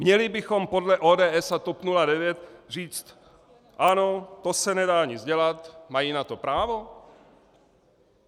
Měli bychom podle ODS a TOP 09 říct ano, to se nedá nic dělat, mají na to právo?